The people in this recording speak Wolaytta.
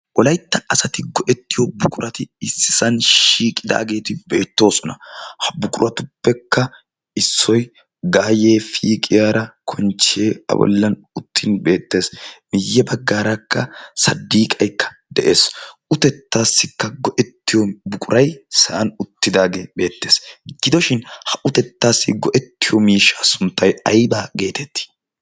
Wolaytta asati go'ettiyo buqurati issisan shiiqidaageeti beettoosona ha buquratuppekka issoi gaayyee piqiyaara konchchiyee a bollan uttin beettees miyye baggaarakka saddiiqaikka de'ees. utettaassikka go'ettiyo buqurai sa'an uttidaage beettees. gidoshin ha utettaassi go'ettiyo miishshaa sunttay aybaa geetettii?